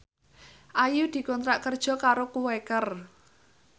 Ayu dikontrak kerja karo Quaker